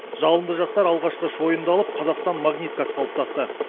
жалынды жастар алғашқы шойынды алып қазақстан магниткасы қалыптасты